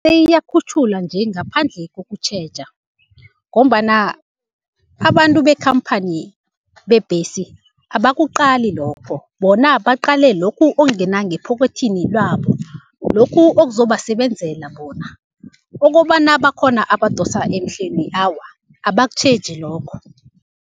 iyakhutjhulwa nje ngaphandle kokutjheja, ngombana abantu bekhamphani bebhesi abakuqali lokho bona baqale lokhu okungena ngephokwethini lwabo, lokhu okuzobasebenzela bona okobana bakhona abadosa emhlweni, awa abakutjheji lokho.